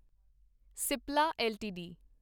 Cipla LTD